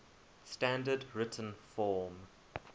standard written form